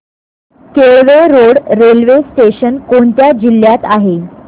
Kelve road railway station कोणत्या जिल्ह्यात आहे